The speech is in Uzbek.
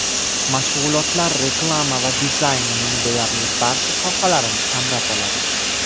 Mashg‘ulotlar reklama va dizaynning deyarli barcha sohalarini qamrab oladi.